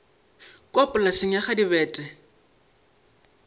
kua polaseng ya ga dibete